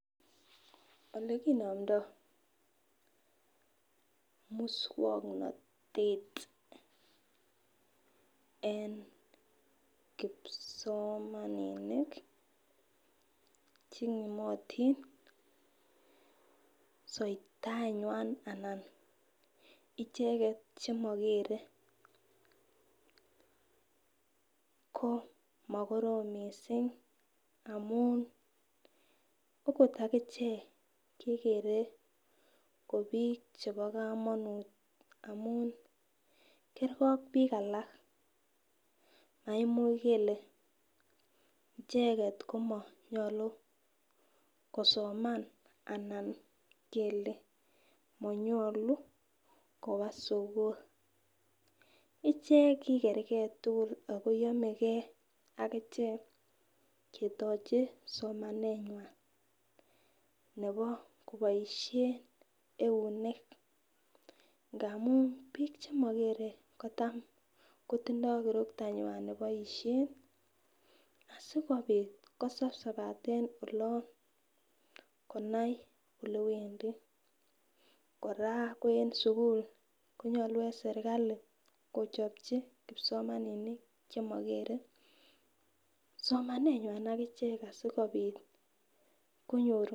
Olikinomdo muswoknotet en kipsomaninik chenyimotin soitaenywan anan icheket chemokere ko mokorom missing amun akot akichek kegere ko bik chebo komonut kergee ak bik alak maimuch kele icheket komonyolu kosoman ana kele monyolu koba sukul. Ichek kigergee tukul Ako yomegee akichek ketochi somanywan nebo koboishen eunek ngamun bik chemokeree kotam kotindo kirotanyean sikopit kosapsapaten olon konai ole wendii. Koraa ko en sukul konyolu en sirkali kochopchi kipsomaninik chemogere somaneywan akichek asikopit konyor.